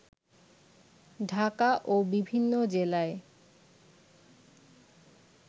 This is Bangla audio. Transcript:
ঢাকা ও বিভিন্ন জেলায়